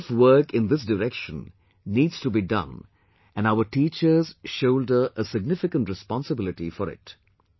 A lot of work in this direction needs to be done and our teachers shoulder a significant responsibility for it